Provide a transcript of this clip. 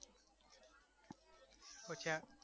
શું છે આ